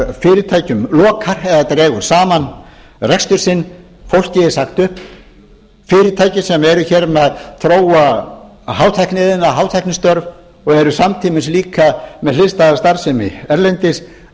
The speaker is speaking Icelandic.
fyrirtækjum lokar eða dregur saman rekstur sinn fólki er sagt upp fyrirtæki sem eru hér að þróa hátækniiðnað og hátæknistörf og eru samtímis líka með hliðstæða starfsemi erlendis eru að flytja hana í